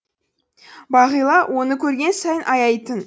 бағила оны көрген сайын аяйтын